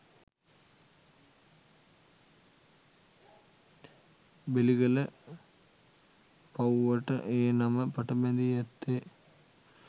බෙලිගල පව්වට ඒ නම පටබැඳී ඇත්තේ